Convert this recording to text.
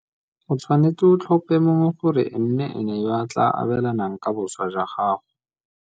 O tshwanetse o tlhope mongwe gore e nne ene yo a tla abelanang ka boswa jwa gago.